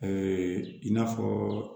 i n'a fɔɔ